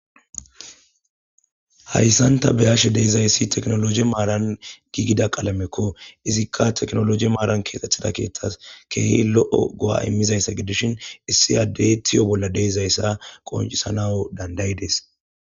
hayssan ta beyashe de'izayssi teknoloje maaran giigida qalamekko izikka teknoloje maaran keexxethida keeththas keehi lo'o go'a immizayssa gidishin issi addey tiyo bolla de'izayssa qoncisanawu dandayides.